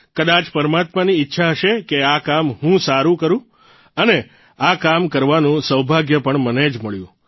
કદાય પરમાત્માની ઇચ્છા હશે કે આ કામ હું કરૂં અને આ કામ કરવાનું સૌભાગ્ય પણ મને જ મળ્યું